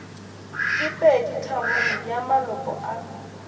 ke peditharong ya maloko a